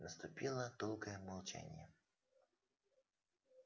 наступило долгое молчание